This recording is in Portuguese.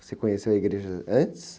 Você conheceu a igreja antes?